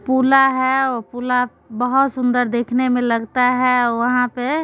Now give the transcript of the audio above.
पुला हेय और पुला के बहुत सुंदर देखने में लगता है वहां पे।